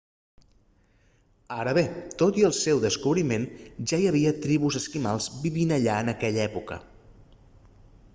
ara bé tot i el seu descobriment ja hi havia tribus esquimals vivint allà en aquella època